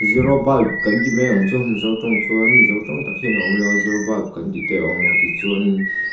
zero bulb kan ti mai ang chu mizo tawng chuan mizo tawng tak hian a awm lo a zero bulb kan tih te a awm a tichuan--